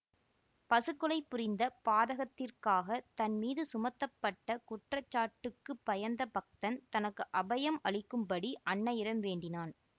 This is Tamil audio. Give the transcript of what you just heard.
பசுக் கொலை புரிந்த பாதகத்திற்காக தன் மீது சுமத்தப்பட்ட குற்றச்சாட்டுக்குப் பயந்த பக்தன் தனக்கு அபயம் அளிக்கும்படி அன்னையிடம் வேண்டினான்